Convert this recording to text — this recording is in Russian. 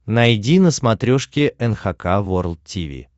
найди на смотрешке эн эйч кей волд ти ви